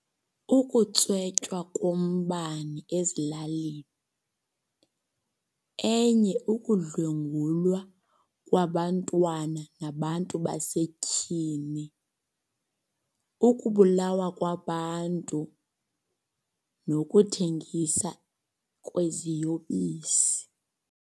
Ukutswetywa kombane ezilalini. Enye ukudlwengulwa kwabantwana nabantu basetyhini. Ukubulawa kwabantu nokuthengisa kweziyobisi.